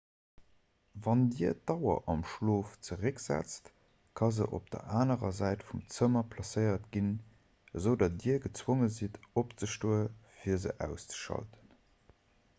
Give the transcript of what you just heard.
wann dir d'auer am schlof zerécksetzt ka se op der anerer säit vum zëmmer placéiert ginn esoudatt dir gezwonge sidd opzestoen fir se auszeschalten